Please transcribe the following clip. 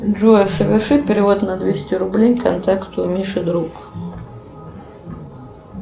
джой соверши перевод на двести рублей контакту миша друг